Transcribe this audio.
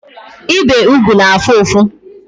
Ibe ụgwụ na-afụ ụfụ